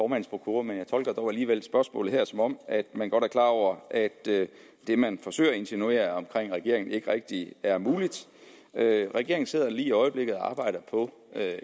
prokura men jeg tolker dog alligevel spørgsmålet her som om man godt er klar over at det man forsøger at insinuere omkring regeringen ikke rigtig er muligt regeringen sidder lige i øjeblikket og arbejder på